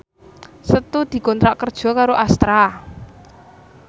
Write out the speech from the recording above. Setu dikontrak kerja karo Astra